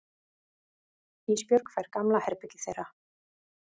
Ísbjörg fær gamla herbergið þeirra.